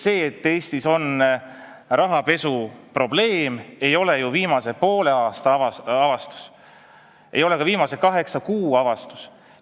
See, et Eestis on rahapesuprobleem, ei ole ju viimase poole aasta avastus, see ei ole ka viimase kaheksa kuu avastus.